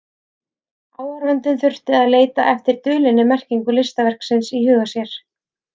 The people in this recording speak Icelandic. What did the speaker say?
Áhorfandinn þurfti að leita eftir dulinni merkingu listaverksins í huga sér.